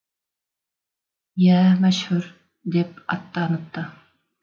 иә мәшһүр деп аттаныпты